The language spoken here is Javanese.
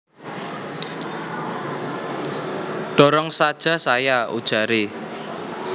Dorong saja saya ujaré